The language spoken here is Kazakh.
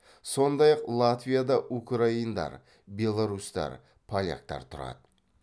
сондай ақ латвияда украиндар беларусьтар поляктар тұрады